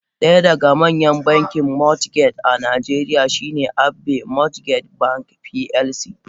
Daya daga manyan bankin mortgage a najeriya shine Abbey mortgage bank plc.